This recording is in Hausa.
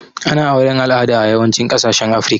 Ana auren alada a yawancin kasashen afrika